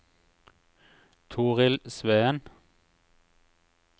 Torild Sveen